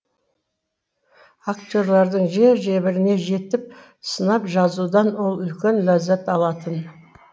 актерлердің жер жебіріне жетіп сынап жазудан ол үлкен ләззат алатын